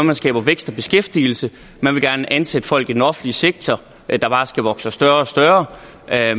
man skaber vækst og beskæftigelse man vil gerne ansætte folk i den offentlige sektor der bare skal vokse sig større og større